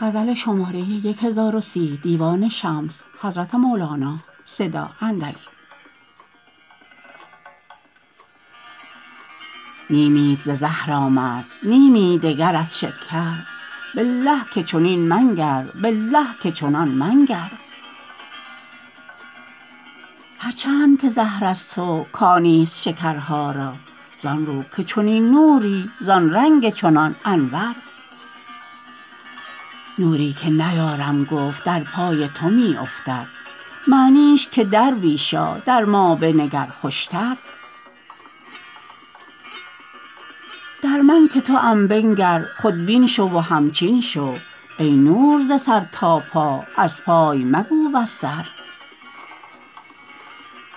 نیمیت ز زهر آمد نیمی دگر از شکر بالله که چنین منگر بالله که چنان منگر هر چند که زهر از تو کانیست شکرها را زان رو که چنین نوری زان رنگ چنان انور نوری که نیارم گفت در پای تو می افتد معنیش که درویشا در ما بنگر خوشتر در من که توم بنگر خودبین شو و همچین شو ای نور ز سر تا پا از پای مگو وز سر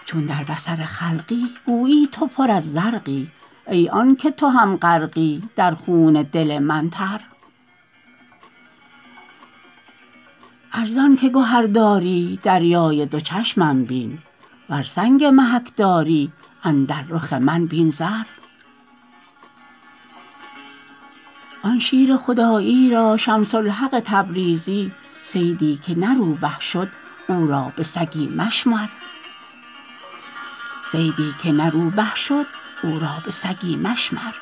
چون در بصر خلقی گویی تو پر از زرقی ای آنک تو هم غرقی در خون دل من تر ار زانک گهر داری دریای دو چشمم بین ور سنگ محک داری اندر رخ من بین زر آن شیر خدایی را شمس الحق تبریزی صیدی که نه روبه شد او را به سگی مشمر